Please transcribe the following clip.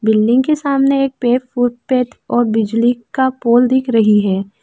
Building के सामने एक और बिजली का पोल दिख रही है।